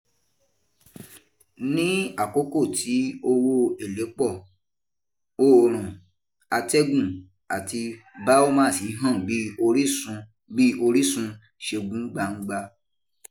Ní àkókò tí owó èlé pọ̀, òòrùn, atẹ́gùn àti biomass hàn bí orísun bí orísun ṣegun gbangba.